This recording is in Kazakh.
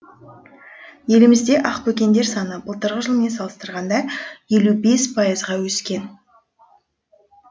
елімізде ақбөкендер саны былтырғы жылмен салыстырғанда елу бес пайызға өскен